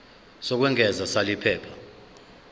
lokwengeza sal iphepha